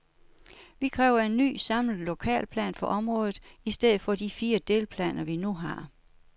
Vi kræver en ny, samlet lokalplan for området i stedet for de fire delplaner, vi nu har.